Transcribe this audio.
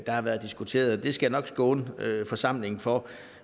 der har været diskuteret det skal jeg nok skåne forsamlingen for